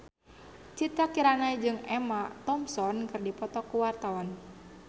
Citra Kirana jeung Emma Thompson keur dipoto ku wartawan